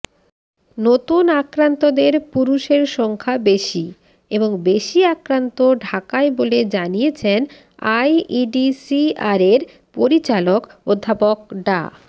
নতুন আক্রান্তদের পুরুষের সংখ্যা বেশি এবং বেশি আক্রান্ত ঢাকায় বলে জানিয়েছেন আইইডিসিআরের পরিচালক অধ্যাপক ডা